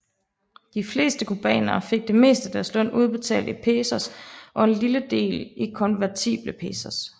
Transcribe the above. De fleste cubanere fik det meste af deres løn udbetalt i pesos og en lille del i konvertible pesos